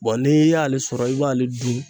Bɔn n'i y'ale sɔrɔ i b'ale dun